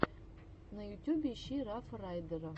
на ютюбе ищи рафа райдера